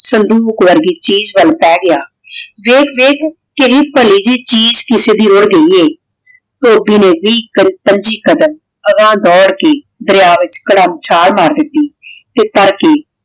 ਸੰਦੂਕ ਵਰਗੀ ਚੀਜ਼ ਵਾਲ ਪੀ ਗਯਾ ਦੇਖ ਦੇਖ ਕਿਵੇਨ੍ਭਾਲੀ ਚੀਜ਼ ਕਿਸੇ ਦੀ ਆਉਂਦੀ ਆਯ ਧੋਭੀ ਨੇ ਵੀ ਪੰਜੀ ਕ਼ਾਡਮ ਦਰਯਾ ਵਿਚ ਘਰਮ ਚਾਲ ਮਾਰ ਦਿਤੀ ਤੇ ਫੇਰ ਕੀ